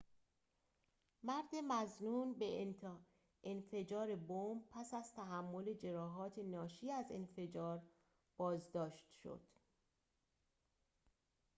مرد مظنون به انفجار بمب پس از تحمل جراحات ناشی از انفجار بازداشت شد